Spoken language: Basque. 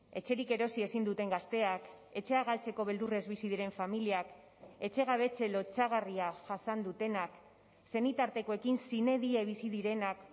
etxerik erosi ezin duten gazteak etxea galtzeko beldurrez bizi diren familiak etxegabetze lotsagarria jasan dutenak senitartekoekin sine die bizi direnak